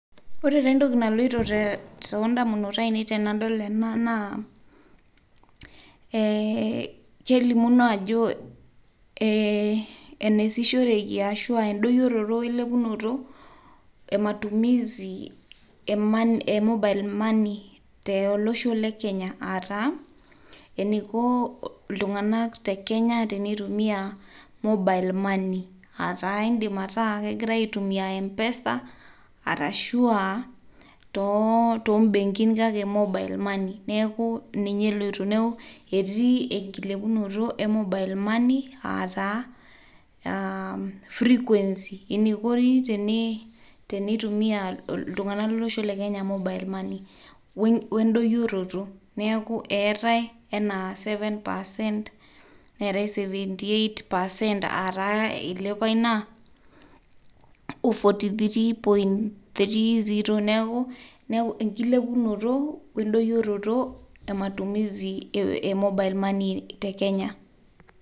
Ore taa entoki naloto too indamunot ainei tenadol ena naa kelimuno ajoo eneasishoreki ashuu aaindoyoroto oelopunoto ematumisi e mobile le money te losho le kenya ataa eneiko ltunganak tekenya teneitumiyaa mobile money aataa keidim ataa kegira aitumiya [cs[ mpesa arashu aa too mbenkin ksake mobile money neaku ninyw eloito, neaku etii enkilepunoto e mobile money ataa frequency eneikoni teneitumiyaa ltunganak le losho le kenya mobile money oondoyorot naaku eatae enaa seven percent neatae seventy eight percent aataa eilepua inia oo forty three point three zero neaku enkielepunot onkidoyorioton ematumisi e [mobile money tekenya.